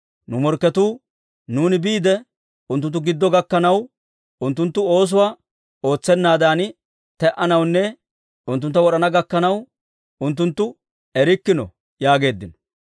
Nu morkketuu, «Nuuni biide unttunttu giddo gakkanaw, unttunttu oosuwaa ootsennaadan te"anawunne unttuntta wod'ana gakkanaw, unttunttu erikkino» yaageeddino.